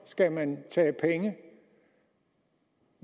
skal man tage penge